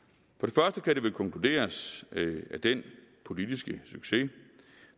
for det det konkluderes at den politiske succes